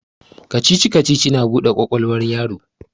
Kacici-kacici na bude kwakwalwar yaro